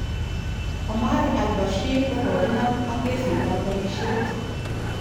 Omar Al Bashir kokokinam ak kesit tab borishet.